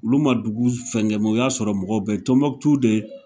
Olu ma s dugu fɛnkɛ u y'a sɔrɔ mɔgɔw be Tombouctou de